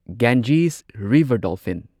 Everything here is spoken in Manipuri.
Ganges river dolphin